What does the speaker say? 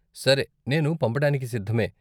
సరే, నేను పంపడానికి సిద్ధమే.